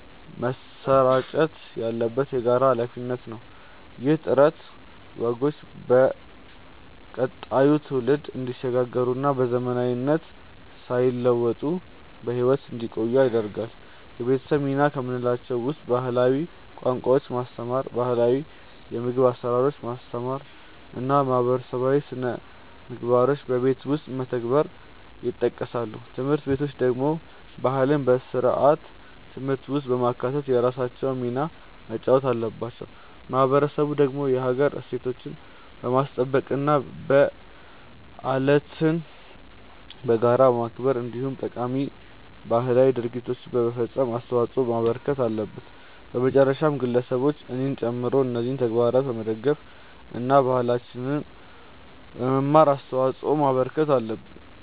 መሰራጨት ያለበት የጋራ ሃላፊነት ነው። ይህ ጥረት ወጎቹ ለቀጣዩ ትውልድ እንዲሸጋገሩና በዘመናዊነት ሳይዋጡ በህይወት እንዲቆዩ ያደርጋል። የቤተሰብ ሚና ከምንላቸው ውስጥ ባህላዊ ቋንቋዎችን ማስተማር፣ ባህላው የምግብ አሰራሮችን ማስተማር እና ማህበረሰባዊ ስነምግባሮችን በቤት ውስጥ መተግበር ይጠቀሳሉ። ትምህርት ቤቶች ደግሞ ባህልን በስርዓተ ትምህርት ውስጥ በማካተት የራሳቸውን ሚና መጫወት አለባቸው። ማህበረሰቡ ደግሞ የሀገር እሴቶችን በማስጠበቅ፣ በዓለትን በጋራ በማክበር እንዲሁም ጠቃሚ ባህላዊ ድርጊቶችን በመፈፀም አስተዋጽዖ ማበርከት አለበት። በመጨረሻም ግለሰቦች እኔንም ጨምሮ እነዚህን ተግባራት በመደገፍ እና ባህላችንን በመማር አስተዋጽዖ ማበርከት አለብን።